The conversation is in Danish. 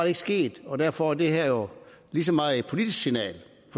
ikke sket og derfor er det her jo lige så meget et politisk signal